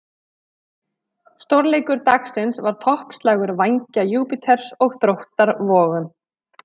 Stórleikur dagsins var toppslagur Vængja Júpíters og Þróttar Vogum.